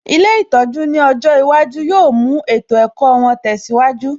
Ilé ìtọ́jú ní ọjọ́ iwájú yóò mú ètò ẹ̀kọ́ wọn tẹsiwaju